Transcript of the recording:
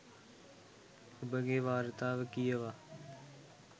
ඔබගෙ වාර්තාව කියවා